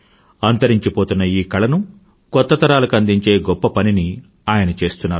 అంతరించిపోతున్న ఈ కళను కొత్తతరాలకు అందించే గొప్ప పనిని ఆయన చేస్తున్నారు